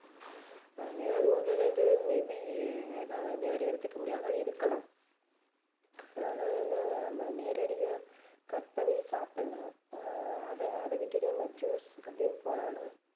அஹ் ஏதாவது ஒண்ணு ரெண்டு may be ஏதாவது நேரடியா எடுத்துக்க முடியாத மாதிரி இருக்கலாம் ஆனா என்ன நம்ம நேரடியா cut பண்ணி சாப்பிடலாம் ஆஹ் அத அத விட்டு நம்ம juice அப்படின்னு போனோம்னா